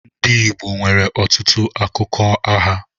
Ndị Igbo nwere ọtụtụ akụkọ ụgha.